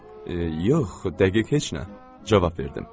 Yox, dəqiq heç nə cavab verdim.